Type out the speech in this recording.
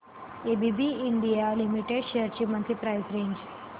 ABB India limited shares ची monthly price range